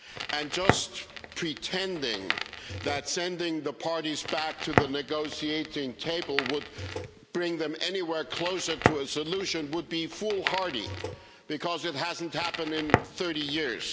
And just pretending that sending the parties back to the negotiating table would bring them anywhere closer to a solution would be foolhardy because it hasn't happened in 30 years.